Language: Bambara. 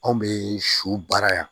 Anw bɛ su baara yan